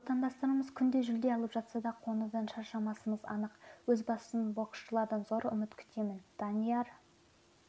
отандастарымыз күнде жүлде алып жатса да қуанудан шаршамасымыз анық өз басым боксшылардан зор үміт күтемін данияр